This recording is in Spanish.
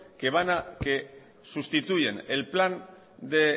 que sustituyen el plan de